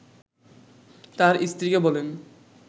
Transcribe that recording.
তার স্ত্রীকে বলেন